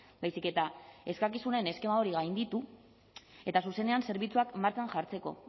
baizik eta eskakizunen eskema hori gainditu eta zuzenean zerbitzuak martxan jartzeko